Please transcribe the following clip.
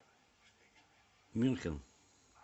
мюнхен